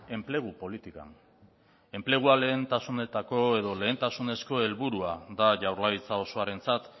enplegu politikan enplegua lehentasunetako edo lehentasunezko helburua da jaurlaritza osoarentzat